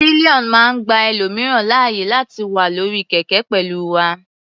Pillion máa ń gba ẹlòmìíràn láàyè láti wà lórí kẹ̀kẹ́ pẹ̀lú wa.